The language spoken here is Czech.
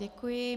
Děkuji.